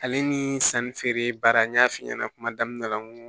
Ale ni sanni feere baara n y'a f'i ɲɛna kuma daminɛ la n ko